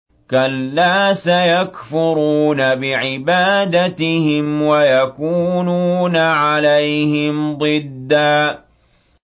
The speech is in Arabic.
كَلَّا ۚ سَيَكْفُرُونَ بِعِبَادَتِهِمْ وَيَكُونُونَ عَلَيْهِمْ ضِدًّا